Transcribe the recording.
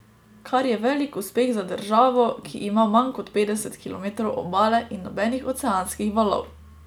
Kar je velik uspeh za državo, ki ima manj kot petdeset kilometrov obale in nobenih oceanskih valov.